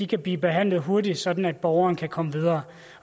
kan blive behandlet hurtigt sådan at borgeren kan komme videre